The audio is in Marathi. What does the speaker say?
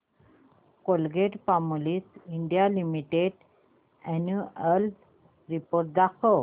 Colgate Palmolive India limited annual report दाखव